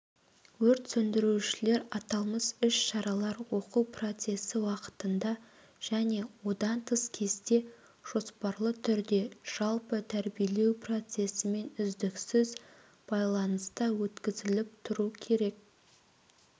өрт сөндірушілер аталмыш іс-шаралар оқу процесі уақытында және одан тыс кезде жоспарлы түрде жалпы тәрбиелеу процесімен үздіксіз байланыста өткізіліп тұру керек